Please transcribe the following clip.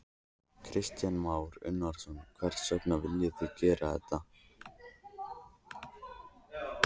Kristján Már Unnarsson: Hvers vegna viljið þið gera þetta?